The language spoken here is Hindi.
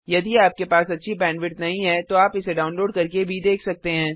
यदि आपके पास अच्छी बैंडविड्थ नहीं है तो आप इसे डाउनलोड करके भी देख सकते हैं